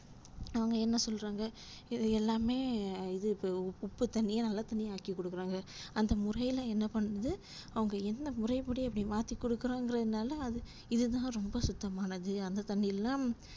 அவங்க என்ன சொல்றாங்க இது எல்லாமே இது உப்பு தண்ணி நல்ல தண்ணி ஆக்கி கொடுக்குறாங்க அந்த முறைல என்ன பண்ணுது அவங்க என்ன முறைப்படி அப்டி மாத்திக் கொடுக்குறோம்க்ரதுனால அது இதுதான் ரொம்ப சுத்தமானது, அந்த தண்ணியெல்லாம்